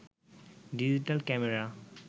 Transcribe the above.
digital camera